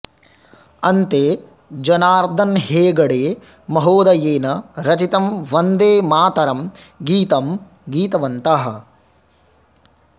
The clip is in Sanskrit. अन्ते जनार्दन हेग्डे महोदयेन रचितं वन्दे मातरं गीतं गीतवन्तः